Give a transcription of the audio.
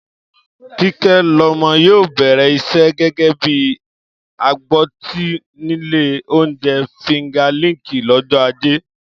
Kíkẹ́lọmọ yóò bẹ̀rẹ̀ iṣẹ́ gẹ́gẹ́ bí agbọ́tí nílé oúnjẹ Finger lickin lọ́jọ́ Ajé